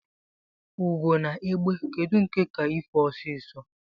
Ugo na egbe kedụ nke ka ife ọsisọ?